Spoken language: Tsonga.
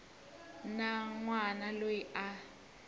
na n wana loyi a